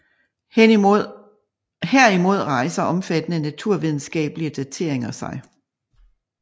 Herimod rejser omfattende naturvidenskabelige dateringer sig